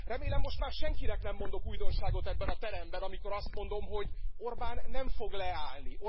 Remélem, most már senkinek nem mondok újdonságot ebben a teremben, amikor azt mondom, hogy Orbán nem fog leállni.